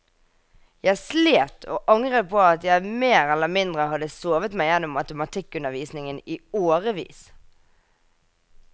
Jeg slet, og angret på at jeg mer eller mindre hadde sovet meg gjennom matematikkundervisningen i årevis.